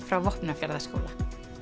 frá Vopnafjarðarskóla